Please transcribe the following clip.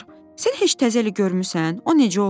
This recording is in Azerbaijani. Çinar, sən heç təzə eli görmürsən?